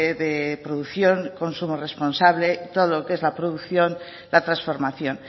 de producción consumo responsable todo lo que es la producción la transformación